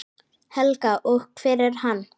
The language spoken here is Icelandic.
Helga: Og hver er hann?